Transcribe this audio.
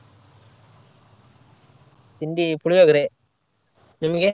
ತಿಂಡಿ ಪುಳಿಯೋಗರೆ, ನಿಮ್ಗೆ?